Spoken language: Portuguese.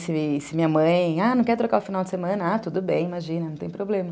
Se se a minha mãe, ah, não quer trocar o final de semana, ah, tudo bem, imagina, não tem problema.